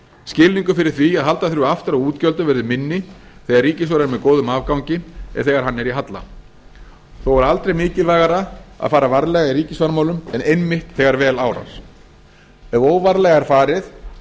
skilningur fyrir því að halda þurfi aftur af útgjöldum verður minni þegar ríkissjóður er með góðum afgangi en þegar hann er í halla þó er aldrei mikilvægara að fara varlega i ríkisfjármálum en einmitt þegar vel árar ef óvarlega er farið